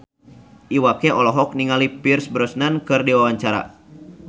Iwa K olohok ningali Pierce Brosnan keur diwawancara